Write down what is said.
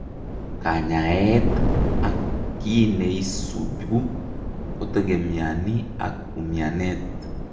Kanyaeet ak kiineisibu kotegemiani ak umianet